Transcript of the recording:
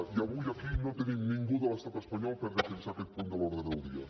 i avui aquí no tenim ningú de l’estat espanyol per defensar aquest punt de l’ordre del dia